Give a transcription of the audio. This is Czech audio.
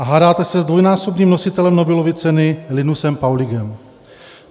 A hádáte se s dvojnásobným nositelem Nobelovy ceny Linusem Paulingem.